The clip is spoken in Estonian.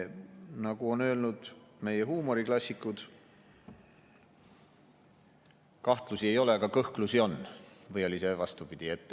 Nagu on öelnud meie huumoriklassikud: kahtlusi ei ole, aga kõhklusi on, või oli see vastupidi.